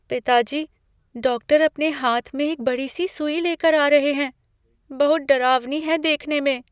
पिताजी, डॉक्टर अपने हाथ में एक बड़ी सी सुई लेकर आ रहे हैं। बहुत डरावनी है देखने में।